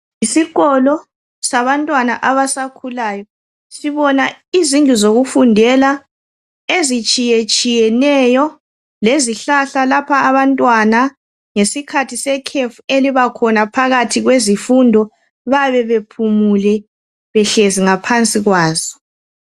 Yisikolo sabantwana abasakhulayo. Sibona izindlu zokufundela ezitshiyetshiyeneyo. Lezihlahla, lapha abantwana, ngesikhathi sekhefu, elibakhona phakathi kwezifundo. Bayabe bephumule, behlezi ngaphansi kwazo.